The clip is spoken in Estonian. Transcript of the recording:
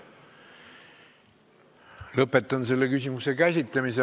Lõpetan selle küsimuse käsitlemise.